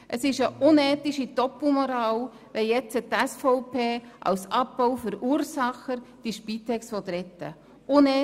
Es ist eine unethische Doppelmoral, wenn die SVP als Abbauverursacherin die Spitex nun retten will.